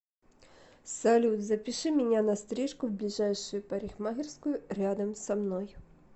салют запиши меня на стрижку в ближайшую парикмахерскую рядом со мной